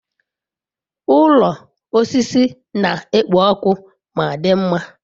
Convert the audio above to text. Ụlọ osisi na-ekpo ọkụ ma dị mma.